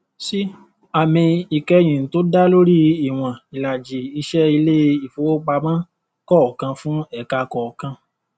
c àmì ìkẹyìn tó dá lórí ìwọn ìlàjì ìṣe ilé ìfowópamọ kọọkan fún ẹka kọọkan